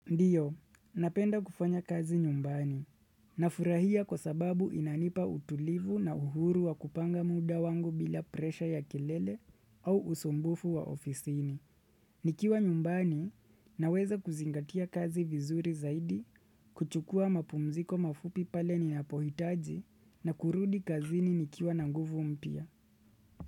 Ndio, napenda kufanya kazi nyumbani. Nafurahia kwa sababu inanipa utulivu na uhuru wa kupanga muda wangu bila presha ya kelele au usumbufu wa ofisini. Nikiwa nyumbani, naweza kuzingatia kazi vizuri zaidi, kuchukua mapumziko mafupi pale ni napohitaji na kurudi kazini nikiwa nanguvu mpya.